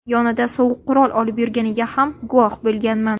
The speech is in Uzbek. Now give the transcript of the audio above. Yonida sovuq qurol olib yurganiga ham guvoh bo‘lmaganman.